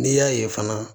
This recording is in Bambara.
N'i y'a ye fana